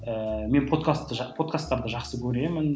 ііі мен подкаст подкастарды жақсы көремін